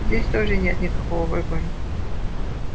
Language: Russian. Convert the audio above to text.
здесь тоже нет никакого выбора